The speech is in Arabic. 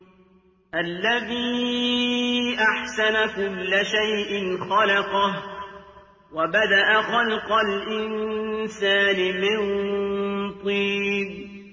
الَّذِي أَحْسَنَ كُلَّ شَيْءٍ خَلَقَهُ ۖ وَبَدَأَ خَلْقَ الْإِنسَانِ مِن طِينٍ